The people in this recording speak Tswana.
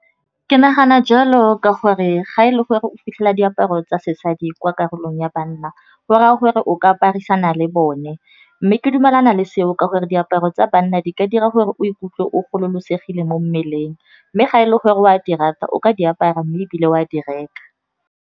Ke nagana jalo ka gore ga e le gore o fitlhela diaparo tsa sesadi kwa karolong ya banna, go raya gore o ka aparisana le bone. Mme ke dumelana le seo ka gore diaparo tsa banna di ka dira gore o ikutlwe o gololosegile mo mmeleng, mme ga e le gore o a di rata, o ka di apara mme ebile o a di reka.